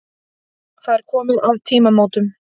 Það er komið að tímamótunum.